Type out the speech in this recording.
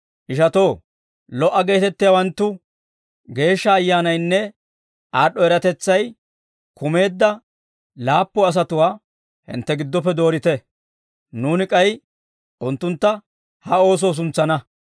Ishatoo, lo"a geetettiyaawantta Geeshsha Ayyaanaynne aad'd'o eratetsay kumeedda laappu asatuwaa hintte giddoppe doorite; nuuni k'ay unttuntta ha oosoo suntsana.